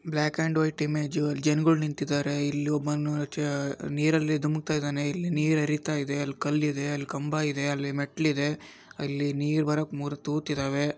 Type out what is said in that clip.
Block and white image ಲಿ ಜನ್ಗಳು ನಿಂತಿದ್ದಾರೆ ಇಲ್ಲಿ ಒಬ್ಬನು ಜ ನೀರಲ್ಲಿ ದುಮುಕುತಿದ್ದನೆ.ಇಲ್ಲಿ ನಿರ್ ಹರಿತಾಯಿದೆ ಅಲ್ಲಿ ಕಲ್ ಇದೆ ಕಂಬಾ ಇದೆ ಅಲ್ಲಿ ಮೆಟ್ಲಿದೆ ಅಲ್ಲಿ ನೀರ್ ಬರೋಕೆ ಮೂರು ತುತ್ ಇದೆ.